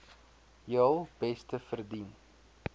heel beste verdien